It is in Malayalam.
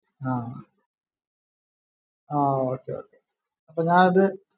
ആഹ് ആഹ് okay okay അപ്പൊ ഞാ അത്